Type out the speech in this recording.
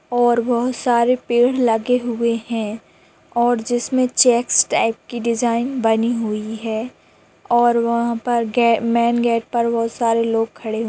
और बहुत सारे पेड़ लगे हुए है और जिसमे चेक्स टाइप की डिज़ाइन बनी हुई है और वहा पर गे-मेन गेट बहुत सारे लोग खड़े--